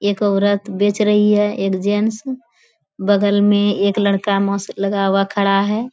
एक औरत बेच रही है। एक जेंट्स बगल में एक लड़का मास्क लगा हुआ खड़ा है।